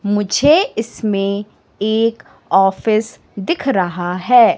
मुझे इसमें एक ऑफिस दिख रहा है।